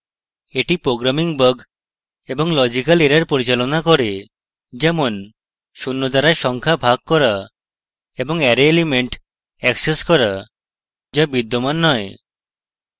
এটি programming bugs এবং logical errors পরিচালনা করে যেমন শূন্য দ্বারা সংখ্যা bugs করা এবং অ্যারে element অ্যাক্সেস করা যা বিদ্যমান নয়